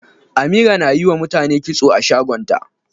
Amira na yiwa mutane kitso a shagon ta.